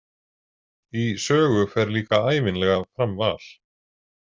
Í sögu fer líka ævinlega fram val.